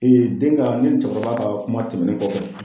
den ka ne ni cɛkɔrɔba ka kuma tɛmɛnen kɔfɛ